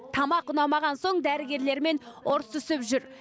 тамақ ұнамаған соң дәрігерлермен ұрсысып жүр